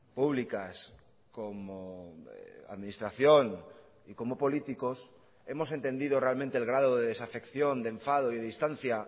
públicas como administración y como políticos hemos entendido realmente el grado de desafección de enfado y de distancia